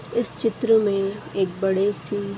इस चित्र में एक बड़े सी --